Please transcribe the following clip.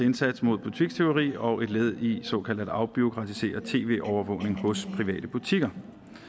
indsats mod butikstyveri og et led i en såkaldt afbureaukratisering af tv overvågning hos private butikker